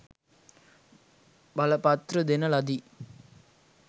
බලපත්‍ර දෙන ලදි